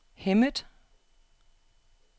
Hemmet